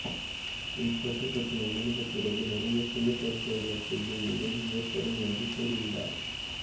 இந்தத் தொற்றுப் பிரச்சினை முடிந்த பிறகு நிறைய சுய பரிசோதனை செய்யும் நிலை ஏற்படும் என்று கூறியுள்ளார்